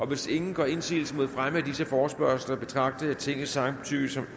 hvis ingen gør indsigelse mod fremme af disse forespørgsler betragter jeg tingets samtykke som